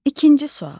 İkinci sual.